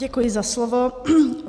Děkuji za slovo.